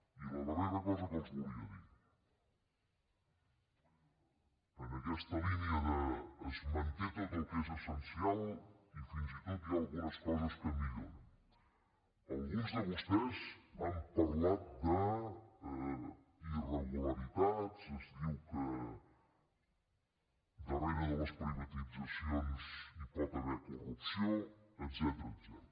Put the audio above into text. i la darrera cosa que els volia dir en aquesta línia de es manté tot el que és essencial i fins i tot hi ha algunes coses que milloren alguns de vostès han parlat d’irregularitats es diu que darrere de les privatitzacions hi pot haver corrupció etcètera